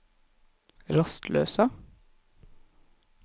rastløse